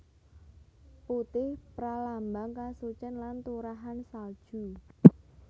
Putih pralambang kasucen lan turahan salju